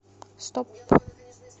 стоп